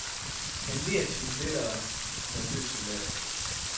Han ler sin lettere nervøse latter.